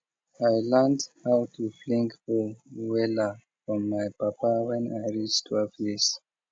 i learnt how to fling hoe wella from my papa when i reach twelve years